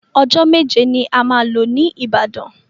Ọjọ́ méje ni a máa lò ní Ìbàdàn.